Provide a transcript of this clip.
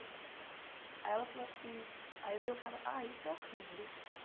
Aí ela falou assim... Aí veio o cara... Ah, isso é horrível, né?